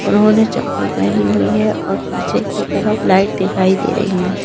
उन्होंने चप्पल पहनी हुई है और पीछे की तरफ लाइट दिखाई दे रही है।